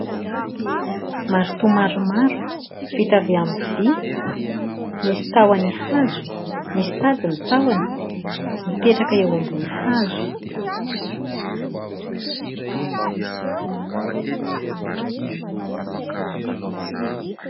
Marito maromaro vita avy amin'ny vy, misy tahony hazo, misy tady ny tahony, mipetraka eo ambony hazo.